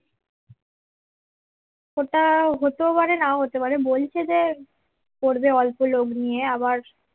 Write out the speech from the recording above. ওটা হতেও পারে নাও হতে পারে বলছে যে করবে অল্প লোক নিয়ে আবার